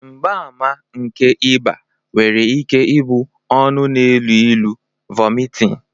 mgbaàmà nke ịba nwere ike ịbụ ọnụ na-elu ilu, vomiting